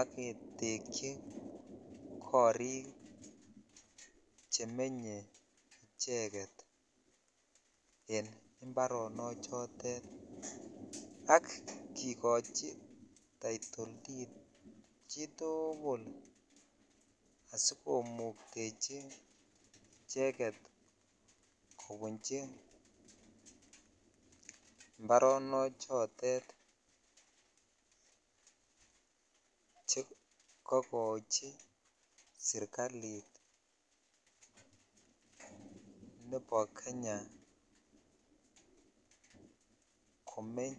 ak ketekyi korik chemenye icheget en imbarono chotet ak kikochi taitoltit chitugul asikomuktechi icheget kobunchi mbaronochotet che kokochi sergalit nebo Kenya komeny.